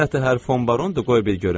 Nətəhər fon barondur, qoy bir görüm.